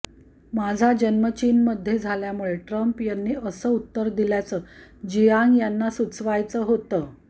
माझा जन्म चीनमध्ये झाल्यामुळे ट्रम्प यांनी असं उत्तर दिल्याचं जियांग यांना सुचवायचं होतं